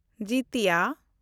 ᱡᱤᱛᱤᱭᱟ